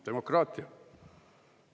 Demokraatia!?